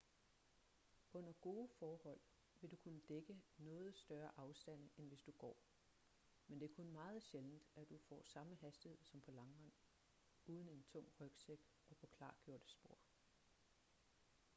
under gode forhold vil du kunne dække noget større afstande end hvis du går men det er kun meget sjældent at du får samme hastighed som på langrend uden en tung rygsæk og på klargjorte spor